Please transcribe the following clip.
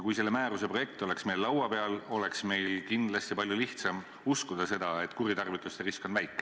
Kui selle määruse projekt oleks meil laua peal, siis oleks meil kindlasti palju lihtsam uskuda seda, et kuritarvituste risk on väike.